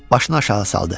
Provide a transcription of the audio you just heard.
Başını aşağı saldı.